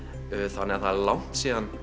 þannig það er langt síðan